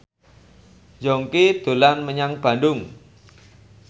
Yongki dolan menyang Bandung